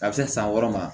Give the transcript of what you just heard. A bɛ se san wɔɔrɔ ma